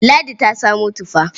Ladi ta samo tufa.